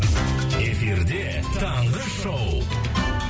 эфирде таңғы шоу